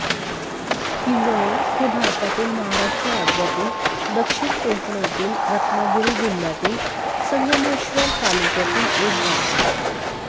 किंजळे हे भारतातील महाराष्ट्र राज्यातील दक्षिण कोकणातील रत्नागिरी जिल्ह्यातील संगमेश्वर तालुक्यातील एक गाव आहे